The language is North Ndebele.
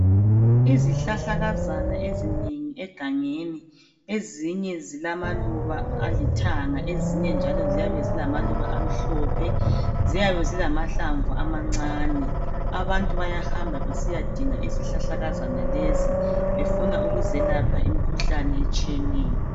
Izihlahla kazana ezinengi egangeni ezinye zilamaluba alithanga ezinye njalo ziyabe zilamaluba amhlophe ziyabe zilamahlamvu amancane abantu abayahamba besiyadinga izihlahlakazana lezi befuna ukuzelapha imikhuhlane etshiyeneyo